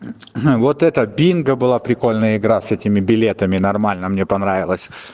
вот это бинго была прикольная игра с этими билетами нормально мне понравилась